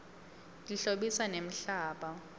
tihlobisa nemhlaba